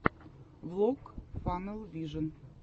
влог фанэл вижен